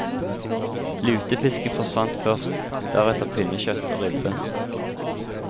Lutefisken forsvant først, deretter pinnekjøtt og ribbe.